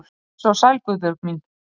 Blessuð og sæl Guðbjörg mín.